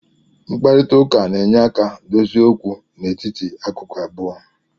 Mkparịta ụka na-enyere aka dozie okwu n'etiti akụkụ abụọ